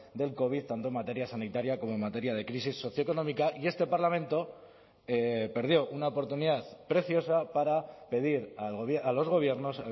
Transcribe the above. del covid tanto en materia sanitaria como en materia de crisis socioeconómica y este parlamento perdió una oportunidad preciosa para pedir a los gobiernos